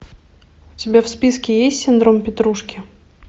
у тебя в списке есть синдром петрушки